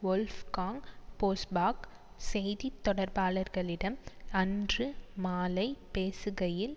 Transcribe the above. Wolfgang Bosbach செய்தி தொடர்பாளர்களிடம் அன்று மாலை பேசுகையில்